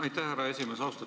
Aitäh, härra esimees!